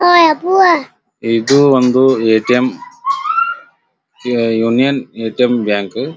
ಇದು ಒಂದು ATM union ATM bank .